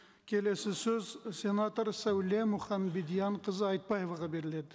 келесі сөз сенатор сәуле мұханбедианқызы айтбаеваға беріледі